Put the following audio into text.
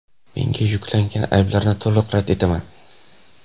Menga yuklanayotgan ayblarni to‘liq rad etaman.